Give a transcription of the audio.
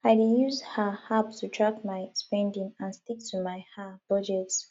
i dey use um app to track my spending and stick to my um budget